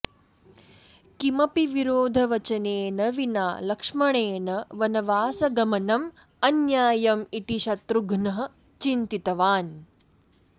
किमपि विरोधवचनेन विना लक्ष्मणेन वनवासगमनम् अन्यायम् इति शत्रुघ्नः चिन्तितवान्